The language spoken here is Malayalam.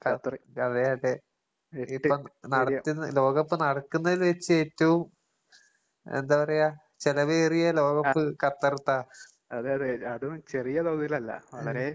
ഖ അതെയതെ. ഇപ്പം നടത്തുന്ന ലോകകപ്പ് നടക്കുന്നതിൽ വെച്ചേറ്റവും എന്താ പറയാ ചെലവേറിയ ലോകകപ്പ് ഖത്തറ്ത്താ. ഉം.